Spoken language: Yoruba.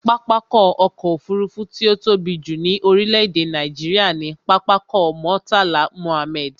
Pápákọ̀ ọ̀kọ òfurufú tí ó tóbi jù ní orílé èdè Nàìjíría ni Pápákọ̀ Murtala Mohammed